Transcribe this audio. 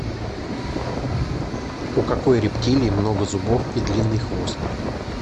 у какой рептилии много зубов и длинный хвост